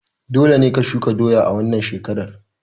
Dole ne ka shuka doya a wannan shekarar!